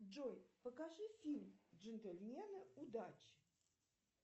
джой покажи фильм джентльмены удачи